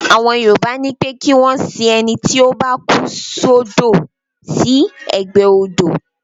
Àwọn Yorùbá ni pé kí wọ́n ma sin ẹnití ó bá kú sọ́dọ̀ sí ẹgbẹ́ odò